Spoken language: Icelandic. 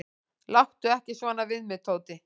"""Láttu ekki svona við mig, Tóti."""